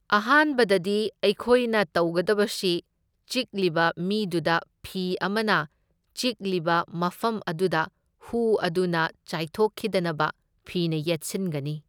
ꯑꯍꯥꯟꯕꯗꯗꯤ ꯑꯩꯈꯣꯏꯅ ꯇꯧꯒꯗꯕꯁꯤ ꯆꯤꯛꯂꯤꯕ ꯃꯤꯗꯨꯗ ꯐꯤ ꯑꯃꯅ ꯆꯤꯛꯂꯤꯕ ꯃꯐꯝ ꯑꯗꯨꯗ ꯍꯨ ꯑꯗꯨꯅ ꯆꯥꯏꯊꯣꯛꯈꯤꯗꯅꯕ ꯐꯤꯅ ꯌꯦꯠꯁꯤꯟꯒꯅꯤ꯫